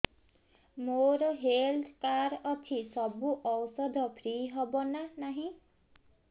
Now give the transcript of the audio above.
ମୋର health card ଅଛି ସବୁ ଔଷଧ ଫ୍ରି ହବ ନା ନାହିଁ